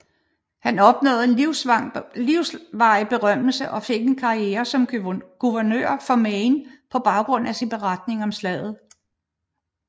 Han opnåede en livsvarig berømmelse og fik en karriere som guvernør for Maine på baggrund af sin beretning om slaget